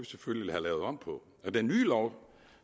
selvfølgelig have lavet om på den nye lov